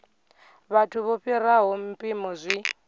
vhathu vho fhiraho mpimo zwi